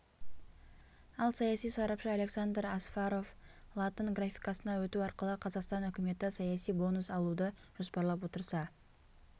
ал саяси сарапшы александр асфаров латын графикасына өту арқылы қазақстан үкіметі саяси бонус алуды жоспарлап отырса